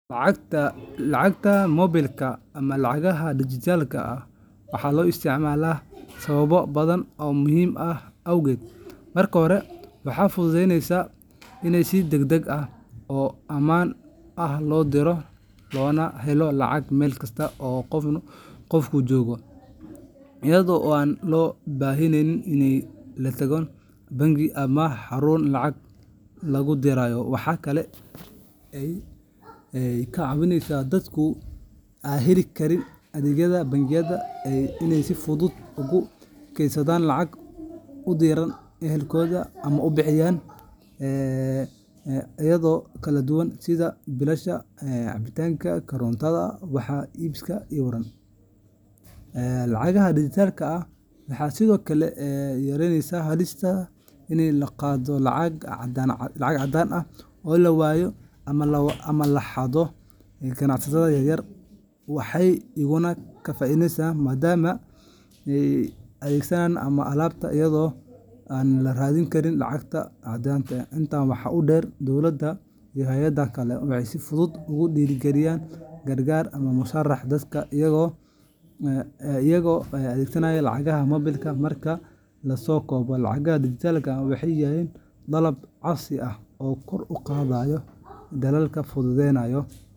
Lacagta moobilka ama lacagaha dijitaalka ah waxaa loo isticmaalaa sababo badan oo muhiim ah awgood. Marka hore, waxay fududeyneysaa in si degdeg ah oo ammaan ah loo diro loona helo lacag meel kasta oo qofku joogo, iyada oo aan loo baahnayn in la tago bangi ama xarun lacag lagu dirayo. Waxa kale oo ay ka caawisaa dadka aan heli karin adeegyada bangiyada in ay si fudud ugu kaydsadaan lacag, u diraan ehelkooda, ama uga bixiyaan adeegyo kala duwan sida biilasha, cabbitaanka, korontada, wax iibsiga, iwm. Lacagaha dijitaalka ah waxay sidoo kale yareeyaan halista ah in la qaato lacag caddaan ah oo la waayo ama la xado. Ganacsatada yaryar waxay iyaguna ka faa’iidaystaan maadaama macaamiisha ay si fudud ugu bixin karaan adeegyada ama alaabta iyada oo aan la raadin karin lacag caddaan ah. Intaa waxaa dheer, dowladda iyo hay’adaha kale waxay si fudud ugu diri karaan gargaar ama mushaarka dadka iyaga oo adeegsanaya lacagaha moobilka. Marka la soo koobo, lacagaha dijitaalka ah waxay yihiin qalab casri ah oo kor u qaadaya dhaqaalaha, fudududeynayo.